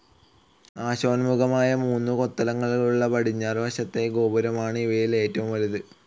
നാശോന്മുഖമായ മൂന്ന് കൊത്തളങ്ങളുള്ള പടിഞ്ഞാറുവശത്തെ ഗോപുരമാണ് ഇവയിൽ ഏറ്റവും വലുത്.